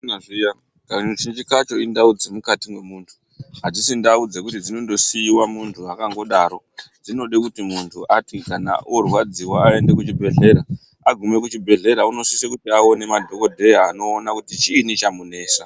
Kunyaziya kazhinji kacho indau dzirimukati nemuntu adzisi ndau dzekuti dzinondosiiwa muntu akangodaro dzinode kuti muntu ati kana orwadziwa aende kuchibhedhlera , agume kuchibhedhlera unosise kuti aone madhogodheya anoona kuti chiinyi chamunesa.